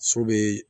So be